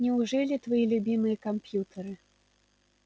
неужели твои любимые компьютеры